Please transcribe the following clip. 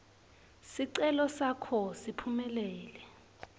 sicelo sakho siphumelele